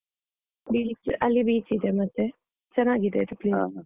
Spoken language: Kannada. Beach ಅಲ್ಲಿ beach ಇದೆ ಮತ್ತೆ, ಚೆನ್ನಾಗಿದೆ ಅದು place .